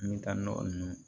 N bɛ taa nɔgɔ ninnu